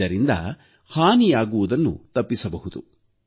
ಇದರಿಂದ ಹಾನಿಯಾಗುವುದನ್ನು ತಪ್ಪಿಸಬಹುದು